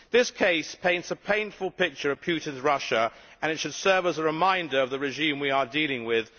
This case paints a painful picture of Putin's Russia, and it should serve as a reminder of the regime we are dealing with.